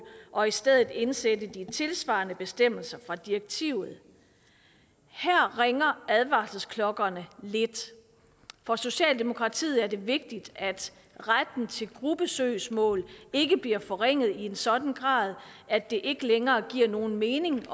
og i stedet indsætte de tilsvarende bestemmelser fra direktivet her ringer advarselsklokkerne lidt for socialdemokratiet er det vigtigt at retten til gruppesøgsmål ikke bliver forringet i en sådan grad at det ikke længere giver nogen mening